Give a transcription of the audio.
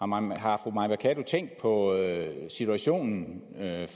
meget har fru mai mercado tænkt på situationen